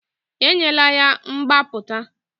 Enyela ya mgbapụta!